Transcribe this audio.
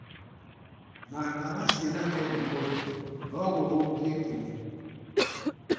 Na ndawa ciĩna kemiko njũru no gũthũkie kĩni.